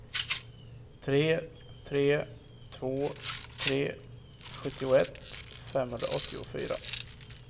tre tre två tre sjuttioett femhundraåttiofyra